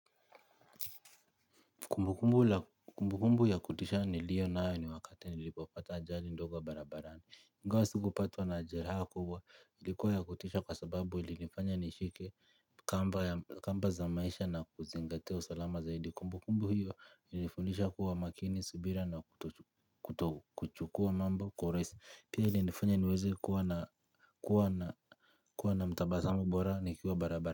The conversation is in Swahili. Kumbukumbu ya kutisha ni liyo na ayo ni wakati nilipofata ajali ndogo barabarani ingawa siku pata na jeraha kubwa ilikuwa ya kutisha kwa sababu ilinifanya nishike kamba kamba za maisha na kuzingateo salama zaidi Kumbukumbu hiyo ilifunisha kuwa makini, subira na kutuchukua mambo, kwa urahisi si Pia ilinifanya niweze kuwa na mtabasambu bora nikiwa barabara.